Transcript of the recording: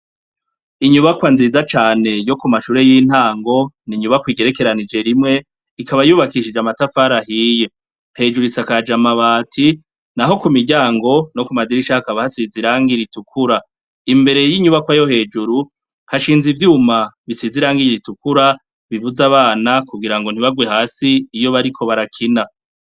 Inyubakwa nziza cane yo ku mashure y'intango, inyubakwa igerekanije rimwe, ikaba yubakishije n'amatafari ahiye. Hejuru isakaje amabati, naho ku miryango no ku madirisha hakaba hasize irangi ritukura. Imbere y'inyubakwa yo hejuru, hashinze ivyuma bisize irangi ritukura bibuza abana kugirango ntibarwa hasi iyo bariko barakina.